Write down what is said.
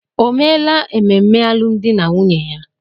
O meela ememe alụmdi na nwunye ya?